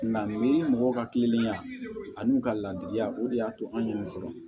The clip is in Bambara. Nka ni mɔgɔ ka kilennenya ani u ka laadiriya o de y'a to an yɛrɛ sɔrɔ